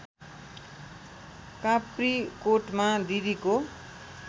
काप्रीकोटमा दिदीको